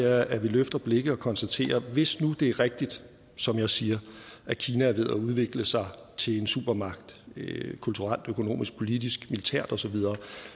er at vi løfter blikket og konstaterer at hvis nu det er rigtigt som jeg siger at kina er ved at udvikle sig til en supermagt kulturelt økonomisk politisk militært og så videre